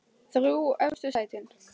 Þrjú efstu sætin